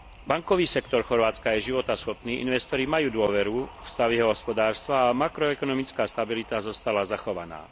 Bankový sektor Chorvátska je životaschopný, investori majú dôveru v stav jeho hospodárstva a makroekonomická stabilita zostala zachovaná.